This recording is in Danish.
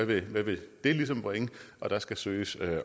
hvad vil det ligesom bringe og der skal søges